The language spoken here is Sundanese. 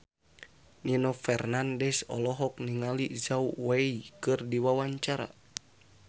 Nino Fernandez olohok ningali Zhao Wei keur diwawancara